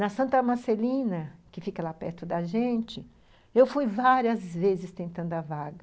Na Santa Marcelina, que fica lá perto da gente, eu fui várias vezes tentando a vaga.